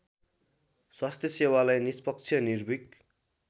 स्वास्थ्यसेवालाई निष्पक्ष निर्भिक